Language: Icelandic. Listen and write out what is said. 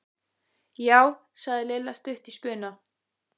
Já sagði Lilla stutt í spuna.